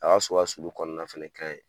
A ka so ka sulu kɔɔna fɛnɛ ka ɲi.